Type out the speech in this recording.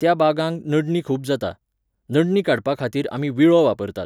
त्या बागांक नडणी खूब जाता. नडणी काडपाखातीर आमी व्हिळो वापरतात